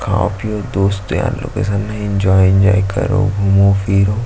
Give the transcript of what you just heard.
काफी वो दोस्त यार लोग के संघ में एन्जॉय एन्जॉय करो घूमो फिरो।--